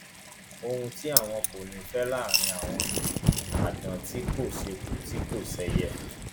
ohun tí àwọn kò ní í fẹ láàrín àwọn ni àdán tí kò ṣeku tí kò ṣẹyẹ